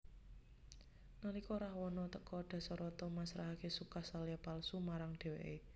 Nalika Rahwana teka Dasarata masrahake Sukasalya palsu marang dheweke